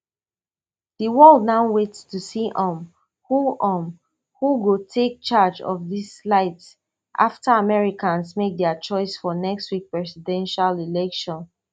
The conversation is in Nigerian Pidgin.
di world now wait to see um who um who go take charge of dis light afta americans make dia choice for next week presidential election